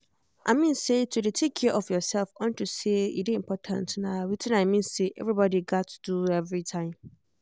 i think say to dey take care of yourself unto say e dey important na wetin i mean say everybody gats do everytime